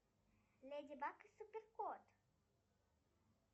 леди баг и супер кот